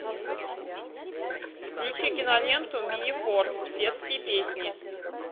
включи киноленту мини форс детские песни